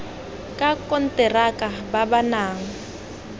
ka konteraka ba ba nang